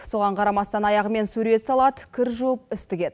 соған қарамастан аяғымен сурет салады кір жуып іс тігеді